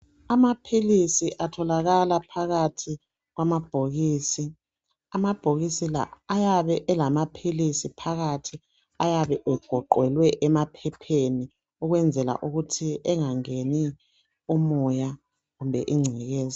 Amaphilisi atholaka phakathi kwamabhokisi , phakathi kwamabhokisi kulamagabha avikela amaphilisi ukuba engangeni izinto eziledoti loba ingcekeza.